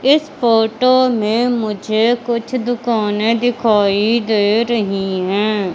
इस फोटो मुझे कुछ दुकाने दिखाई दे रही है।